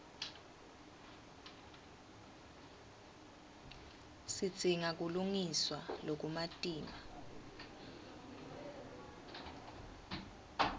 sidzinga kulungiswa lokumatima